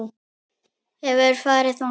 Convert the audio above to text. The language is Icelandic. Hefurðu farið þangað?